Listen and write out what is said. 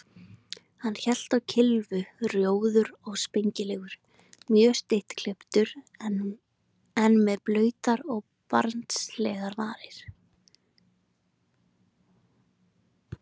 Hann hélt á kylfu, rjóður og spengilegur, mjög stuttklipptur, en með blautar og barnslegar varir.